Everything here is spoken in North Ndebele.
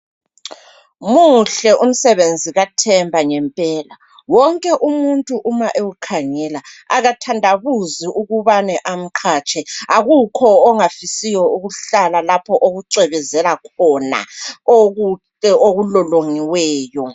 Muhle umsebenzi kaThemba ngempela, onke muntu ma ewukhangela akathandabuzi ukubane amqhatshe, akukho ongafisiyo ukuhlala lapho okucwebezela khona, okulolongiweyo.